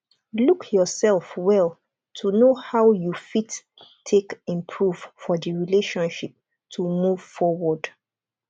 look yourself well to know how you fit take improve for di relationship to move forward